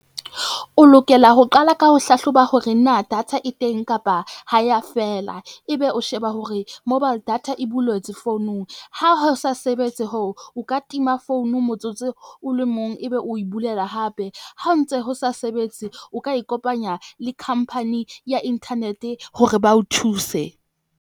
O lokela ho qala ka ho hlahloba hore na data e teng, kapa ha ya feela ebe o sheba hore mobile data e bolwetse founung. Ha ho sa sebetse ho o o ka tima founu motsotso o le mong ebe o bulela hape. Ha ntse ho sa sebetse, o ka ikopanya le company ya internet-e hore ba o thuse.